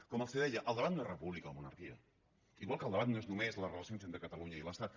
com els deia el debat no és república o monarquia igual que el debat no és només les relacions entre catalunya i l’estat